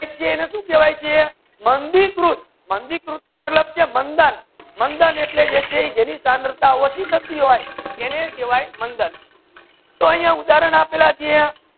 સુ કહેવયે છે માંધી રૂફ માંધી રૂફ અલગ છે અને મંધન મંધન એટલા જે છે એ જેની ત્રાવતા ઓચી થાતી હોય એને કહેવયે મંધન તુ અહિયા ઉદાહરણ આપલે છે